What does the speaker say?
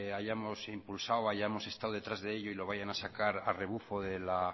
hayamos impulsado hayamos estado detrás de ello y lo vayan a sacar a rebufo de la